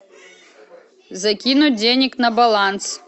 закинуть денег на баланс